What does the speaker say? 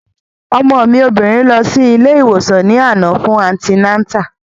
Ọmọ mi obìnrin lọ sí ilé ìwòsàn ní àná fún antinátà